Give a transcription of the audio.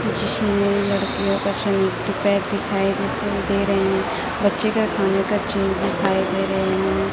जिसमें लड़कियों दिखाइ दे रहे है बच्चे का खाने का चीज दिखाई दे रहे है।